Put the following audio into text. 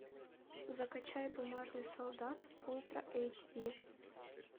закачай бумажный солдат ультра эйч ди